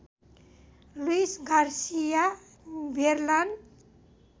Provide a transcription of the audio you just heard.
Louis Garcia बेरलान